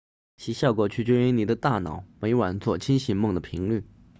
其效果取决于你的大脑每晚做清醒梦的频率